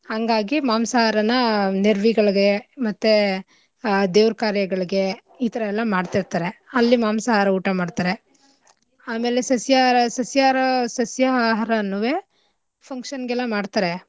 ಹಂಗಾಗಿ ಮಾಂಸಾಹಾರನ ನೆರ್ವಿಗಳ್ಗೆ ಮತ್ತೇ ಆ ದೇವ್ರ್ ಕಾರ್ಯಗಳ್ಗೆ ಈಥರಾ ಎಲ್ಲಾ ಮಾಡ್ತಿರ್ತರೆ ಅಲ್ಲಿ ಮಾಂಸಾಹಾರ ಊಟ ಮಾಡ್ತರೆ ಆಮೇಲೆ ಸಸ್ಯಾಹಾರ ಸಸ್ಯಾಹಾರ ಸಸ್ಯಾ ಆಹಾರನುವೆ function ಗೆಲ್ಲ ಮಾಡ್ತಾರೆ.